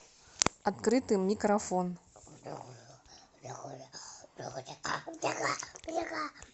открытый микрофон